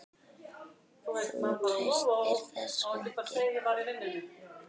Þú treystir þessu ekki?